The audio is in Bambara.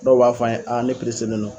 Dɔw b'a fɔ an ye ne pereselen no.